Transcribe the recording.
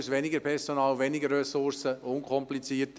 «Neuhaus, weniger Personal, weniger Ressourcen, unkomplizierter.»